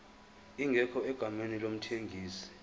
ingekho egameni lomthengisi